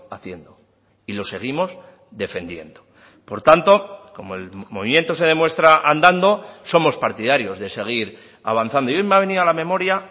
haciendo y lo seguimos defendiendo por tanto como el movimiento se demuestra andando somos partidarios de seguir avanzando hoy me ha venido a la memoria